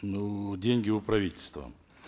ну деньги у правительства